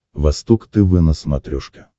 восток тв на смотрешке